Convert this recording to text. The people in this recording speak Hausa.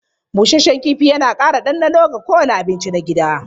Busasshen kifi yana ƙara ɗanɗano ga kowane abinci na gida.